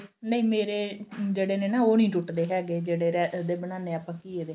ਨਹੀਂ ਮੇਰੇ ਜਿਹੜੇ ਨੇ ਨਾ ਉਹ ਨੀ ਟੁੱਟਦੇ ਹੈਗੇ ਜਿਹੜੇ ਉਹਦੇ ਬਣਾਉਣੇ ਆ ਆਪਾਂ ਘੀਏ ਦੇ